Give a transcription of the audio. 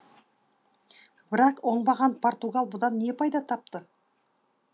бірақ оңбаған португал бұдан не пайда тапты